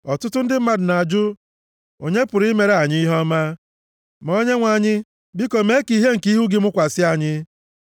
Ọtụtụ ndị mmadụ na-ajụ, “Onye pụrụ imere anyị ihe ọma?” Ma Onyenwe anyị, biko mee ka ìhè nke ihu gị mụkwasị anyị.